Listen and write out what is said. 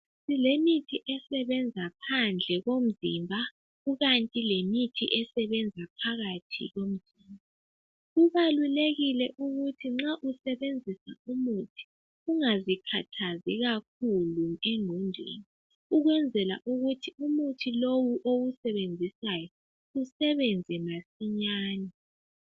Silemithi esebenza phandle komzimba. Kukanti lemithi esebenza phandle komzimba. Kubalulekile ukuthi nxa usebenzisa umuthi, ungazikhathazi kakhulu engqondweni. Ukwenzela. ukuthi lomuthi lowu, owusebenzisayo. Usebenze masinyane.